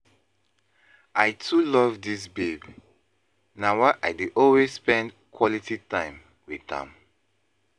I too love dis babe, na why I dey always spend quality time wit am.